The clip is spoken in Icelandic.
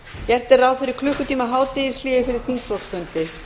gert er ráð fyrir klukkutíma hádegishléi fyrir þingflokksfundi